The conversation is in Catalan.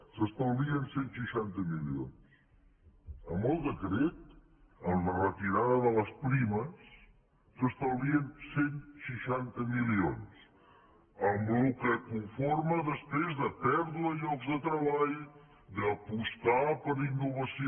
s’estalvien cent i seixanta milions amb el decret amb la retirada de les primes s’estalvien cent i seixanta milions amb el que conforma després de pèrdua de llocs de treball d’apostar per innovació